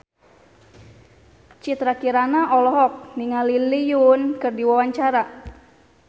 Citra Kirana olohok ningali Lee Yo Won keur diwawancara